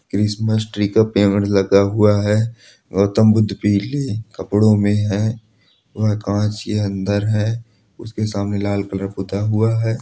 Christmas tree का पेड़ लगा हुआ है गौतम बुद्ध पीले कपड़ों में है वह कांच के अंदर है उसके सामने लाल कलर पुता हुआ है।